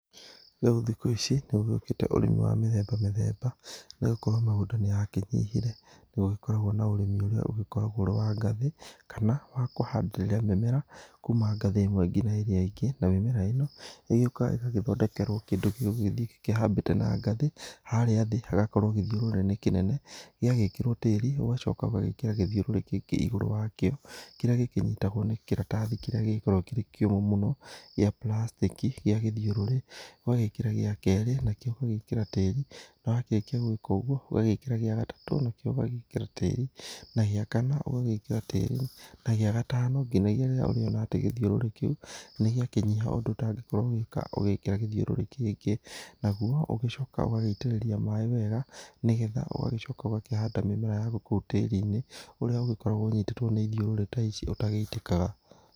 Rĩu thikũ ici nĩgũgĩũkĩte ũrĩmi wa mĩthemba mĩthemba nĩgũkorwo mĩgũnda nĩ yakĩnyihire. Nĩgũgĩkoragwo na ũrĩmi ũrĩa ũgĩkiragwo ũrĩ wa ngathĩ kana wa kũhandĩrĩra mĩmera kuma ngathĩ ĩmwe ngina ĩrĩa ĩngĩ na mĩmera ĩno ĩgĩũkaga ĩgagĩthondekerwo kĩndũ gĩgũgĩthĩ kĩhambĩte na ngathĩ, harĩa thĩ hagakorwo gĩthĩũrũrĩ kĩnene gĩgagĩkĩrwo tĩri, ũgacoka ũgagĩkĩra gĩthĩũrũrĩ kĩngĩ igũrũ wa kĩo, kĩrĩa gĩkĩnyitagwo nĩ kĩratathi kĩrĩa gĩkoragwo kĩrĩ kĩũmũ mũno gĩa puracitĩki gĩa gĩthiũrũrĩ, ũgagĩkĩra gĩa kerĩ, na kĩo ũgagĩkĩra tĩri, na warĩkia gwĩka ũguo, ũgagĩkĩra gĩa gatatũ na kĩo ũgagĩkĩra tĩri, na gĩa kana ũgagĩkĩra tĩri, na gĩa gatano, nginyagĩa rĩrĩa ũrĩona atĩ gĩthiũrũrĩ kĩu nĩgĩakĩnyiha ũndũ ũtangĩka ũgĩkĩra gĩthiũrũrĩ kĩngĩ. Naguo, nĩ ũgĩcokaga ũgagĩitĩrĩria maĩ wega, nĩgetha ũgagĩcoka ũgakĩhanda mĩmera yaku ku tĩri-inĩ, ũrĩa ũgĩkoragwo ũnyitĩtwo nĩ ĩthĩũrũrĩ ta icio ũtagĩitĩkaga.